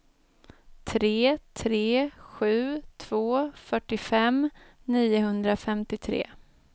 tre tre sju två fyrtiofem niohundrafemtiotre